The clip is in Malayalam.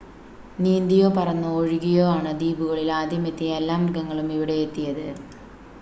നീന്തിയോ പറന്നോ ഒഴുകിയോ ആണ് ദ്വീപുകളിൽ ആദ്യം എത്തിയ എല്ലാ മൃഗങ്ങളും ഇവിടെയെത്തിയത്